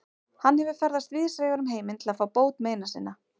Hann hefur ferðast víðsvegar um heiminn til að fá bót meina sinna.